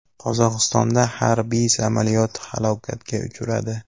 Qozog‘istonda harbiy samolyot halokatga uchradi.